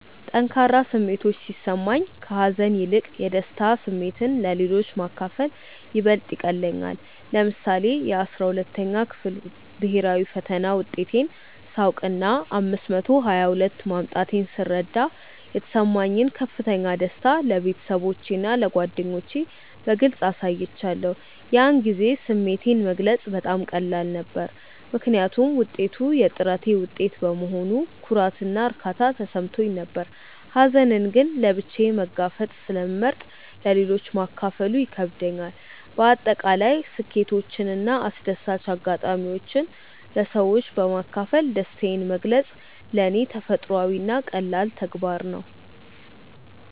ጠንካራ ስሜቶች ሲሰማኝ፣ ከሀዘን ይልቅ የደስታ ስሜትን ለሌሎች ማካፈል ይበልጥ ይቀልለኛል። ለምሳሌ፣ የ12ኛ ክፍል ብሄራዊ ፈተና ውጤቴን ሳውቅና 522 ማምጣቴን ስረዳ የተሰማኝን ከፍተኛ ደስታ ለቤተሰቦቼና ለጓደኞቼ በግልጽ አሳይቻለሁ። ያን ጊዜ ስሜቴን መግለጽ በጣም ቀላል ነበር፤ ምክንያቱም ውጤቱ የጥረቴ ውጤት በመሆኑ ኩራትና እርካታ ተሰምቶኝ ነበር። ሀዘንን ግን ለብቻዬ መጋፈጥን ስለመርጥ ለሌሎች ማካፈሉ ይከብደኛል። በአጠቃላይ ስኬቶችንና አስደሳች አጋጣሚዎችን ለሰዎች በማካፈል ደስታዬን መግለጽ ለኔ ተፈጥሯዊና ቀላል ተግባር ነው።